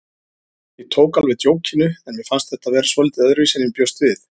Ég tók alveg djókinu en mér fannst þetta vera svolítið öðruvísi en ég bjóst við.